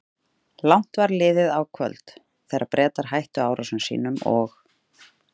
Langt var liðið á kvöld, þegar Bretar hættu árásum sínum og